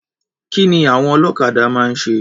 Kí ni àwon ọlọ́kadà máa ń ṣe?